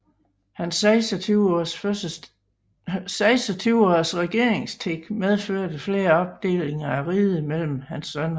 Hans 26 års regeringstid medførte flere opdelinger af riget mellem hans sønner